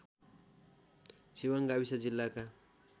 छिवाङ गाविस जिल्लाका